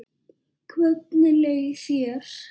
Hvernig leið þér?